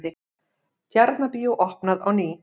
Tjarnarbíó opnað á ný